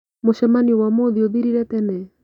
Mũcemanio wa ũmuthĩ ũthirire tene?